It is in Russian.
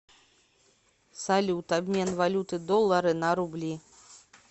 салют обмен валюты доллары на рубли